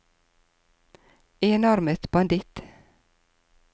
enarmet banditt